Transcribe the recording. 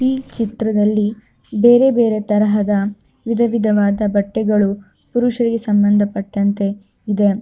ಈ ಚಿತ್ರದಲ್ಲಿ ಬೇರೆ ಬೇರೆ ತರಹದ ವಿಧ ವಿಧವಾದ ಬಟ್ಟೆಗಳು ಕೃಷಿಗೆ ಸಂಬಂಧಪಟ್ಟಂತೆ ಇದೆ.